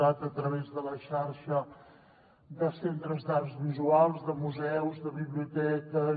cat a través de la xarxa de centres d’arts visuals de museus de biblioteques